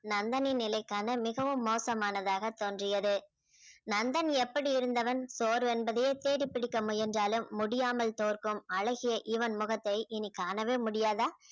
நந்தனின் நிலை காண மிகவும் மோசமானதாக தோன்றியது நந்தன் எப்படி இருந்தவன் சோர்வு என்பதையே தேடி பிடிக்க முயன்றாலும் முடியாமல் தோற்கும் அழகிய இவன் முகத்தை இனி காணவே முடியாதா